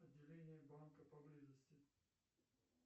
отделение банка поблизости